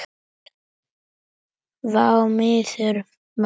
Vá maður vá!